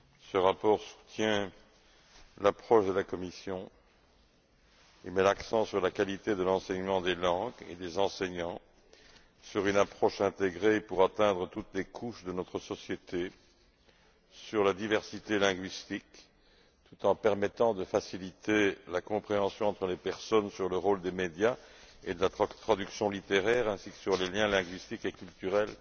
Ce rapport soutient l'approche de la Commission et met l'accent sur la qualité de l'enseignement des langues et des enseignants, sur une approche intégrée pour atteindre toutes les couches de notre société, sur la diversité linguistique, tout en permettant de faciliter la compréhension entre les personnes du rôle des médias et de la traduction littéraire ainsi que sur des liens linguistiques et culturels